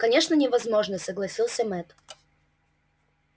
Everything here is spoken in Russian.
конечно невозможно согласился мэтт